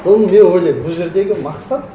соны мен ойлаймын бұл жердегі мақсат